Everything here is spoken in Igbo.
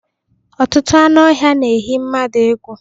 Ọtụtụ anụ ọhia n'eyi mmadu egwu